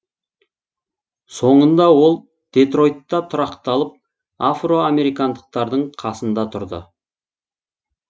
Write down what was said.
сонында ол детройтта тұрақталып афроамерикандықтардың қасында тұрды